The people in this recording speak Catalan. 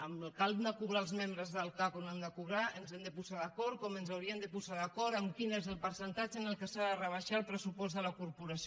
amb el que han de cobrar els membres del cac o no han de cobrar ens hem de posar d’acord com ens hauríem de posar d’acord en quin és el percentatge en què s’ha de rebaixar el pressupost de la corporació